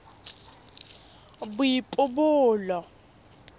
boipobolo